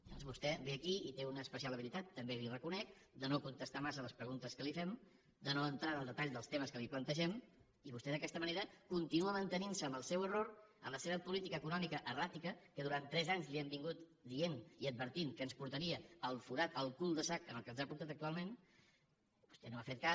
llavors vostè ve aquí i té una especial habilitat també li ho reconec de no contestar massa a les preguntes que li fem de no entrar en el detall dels temes que li plantegem i vostè d’aquesta manera continua mantenint se en el seu error en la seva política econòmica erràtica que durant tres anys li hem anat dient i advertint que ens portaria al forat al cul de sac en què ens ha portat actualment vostè no n’ha fet cas